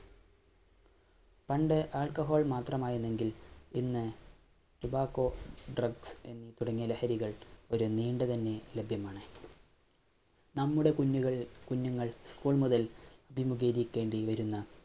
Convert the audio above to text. പണ്ട് Alcohol മാത്രമായിരുന്നെങ്കിൽ ഇന്ന് Tobacco, Drugs തുടങ്ങിയ ലഹരികള്‍ ഒരു നീണ്ടു തന്നെ ലഭ്യമാണ്. നമ്മുടെ കുഞ്ഞുകള്‍ കുഞ്ഞുങ്ങള്‍ ഉസ്കൂള്‍ മുതല്‍ അഭിമുഖീകരിക്കേണ്ടി വരുന്ന